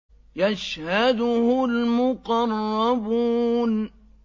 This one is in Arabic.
يَشْهَدُهُ الْمُقَرَّبُونَ